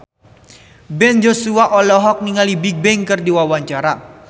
Ben Joshua olohok ningali Bigbang keur diwawancara